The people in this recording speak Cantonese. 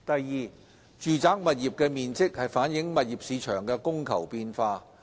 二住宅物業的面積反映物業市場的供求變化。